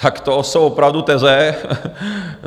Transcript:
Tak to jsou opravdu teze.